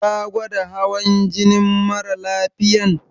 Ka gwada hawan jinin mara lafiyan?